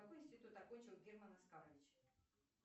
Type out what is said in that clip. какой институт окончил герман оскарович